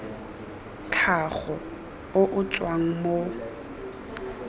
tlhago o o tswang mo